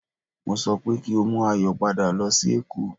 Mo sọ pé kí o mú Ayọ̀ padà lọ sí èkó